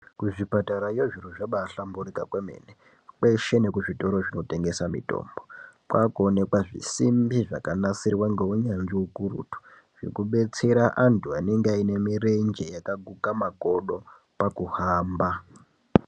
Kuzvipatarayo zviro zvabahlamburika kwemene kweshe nekuzvitoro zvinotengesa mitombo kwakuoneka zvisimbi zvakanasirwa ngeunyanzvi ukurutu zvekubetsera antu anenge ane mirenje yakaguka makodo pakuhamba.